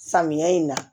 Samiya in na